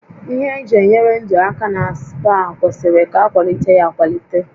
Ihe eji enyere ndụ aka na spa kwesịrị ka akwalite ya akwalite